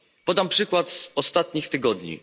Podam przykład z ostatnich tygodni.